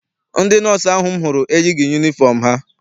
Ndị nọọsụ ahụ m hụrụ eyighị yunifọm ha.